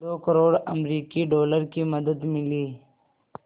दो करोड़ अमरिकी डॉलर की मदद मिली